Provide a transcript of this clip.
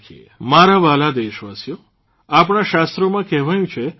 મારા વ્હાલા દેશવાસીઓ આપણા શાસ્ત્રોમાં કહ્યું છે કે